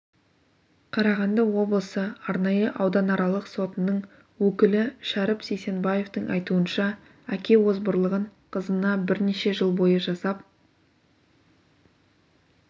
қарағанды облысы арнайы ауданаралық сотының өкілі шәріп сейсенбаевтың айтуынша әке озбырлығын қызына бірнеше жыл бойы жасап